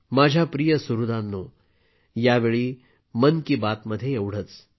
माझ्या प्रिय सुहृदांनो यावेळी मन की बातमध्ये एवढेच